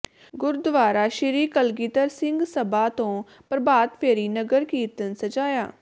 ਗੁਰਦੁਆਰਾ ਸ੍ਰੀ ਕਲਗੀਧਰ ਸਿੰਘ ਸਭਾ ਤੋਂ ਪ੍ਰਭਾਤਫੇਰੀ ਨਗਰ ਕੀਰਤਨ ਸਜਾਇਆ